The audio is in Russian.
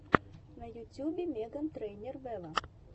на ютюбе меган трейнер вево